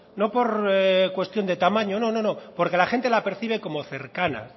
no por cuestión de tamaño no no porque la gente la percibe como cercana